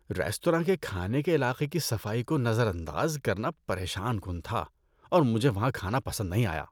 Restaurant کے کھانے کے علاقے کی صفائی کو نظر انداز کرنا پریشان کن تھا اور مجھے وہاں کھانا پسند نہیں آیا۔